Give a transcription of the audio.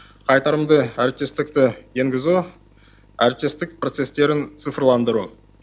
қайтарымды әріптестікті енгізу әріптестік процесстерін цифрландыру